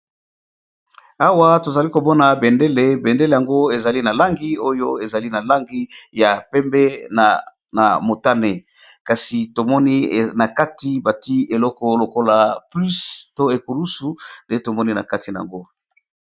Awa tozalikomona bendele ezali na langi ya pembe pe na motani nakati batiye ekuluzu.